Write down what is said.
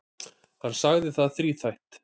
Hann sagði það þríþætt.